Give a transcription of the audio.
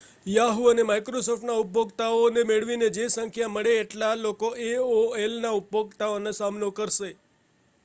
Yahoo અને Microsoft ના ઉપભોગતાઓ ને મેળવીને જે સંખ્યા મળે એટલા લોકો aolના ઉપભોગતાઓનો સામનો કરશે